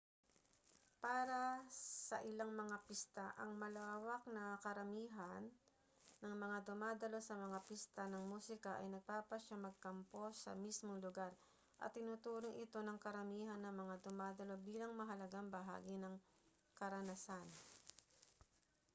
para sa ilang mga pista ang malawak na karamihan ng mga dumadalo sa mga pista ng musika ay nagpapasyang magkampo sa mismong lugar at itinuturing ito ng karamihan ng mga dumadalo bilang mahalagang bahagi ng karanasan